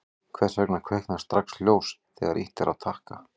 hvers vegna kviknar strax ljós þegar ýtt er á takka